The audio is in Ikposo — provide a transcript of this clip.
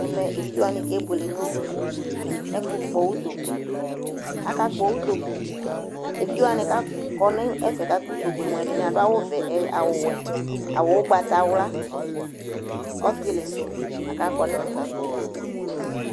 Ɛmɛ evidzewanɩ kebuele nʋ ɛfʋ kpɔ utokue :akakpɔ utoku , evidzewanɩ k'akɔ n'ɛfɛ kakpɔ utokue mʋa ɛdɩnɩ adʋ awʋvɛ ɛ awʋwɛ , awʋ ʋgbatawla, ɔtɩlɩsʋ , lak'akɔ n'ɛfɛ kakpɔ utokue